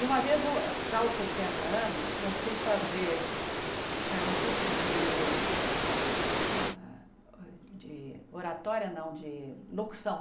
E uma vez, eu já aos sessenta anos, eu fui fazer eh um curso de ah de oratória, não, de locução.